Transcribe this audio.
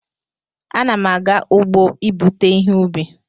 Ana m aga ugbo ibute ihe ubi